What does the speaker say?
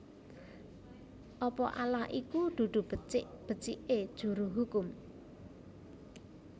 Apa Allah iku dudu becik becike juru hukum